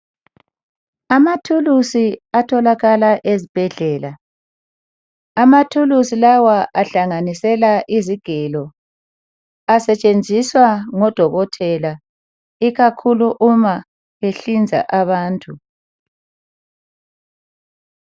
amathulusi atholakala ezibhedlela amathulusi lawa ahlanganisela izigelo asetshenziswa ngodokotela ikakhulu uma behlinza abantu